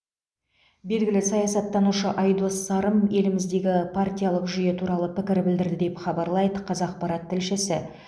белгілі саясаттанушы айдос сарым еліміздегі партиялық жүйе туралы пікір білдірді деп хабарлайды қазақпарат тілшісі